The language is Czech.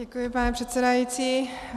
Děkuji, pane předsedající.